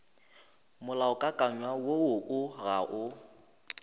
molaokakanywa woo o ga o